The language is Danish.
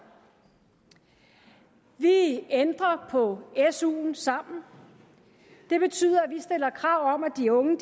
vi ændrer på suen sammen det betyder at vi stiller krav om at de unge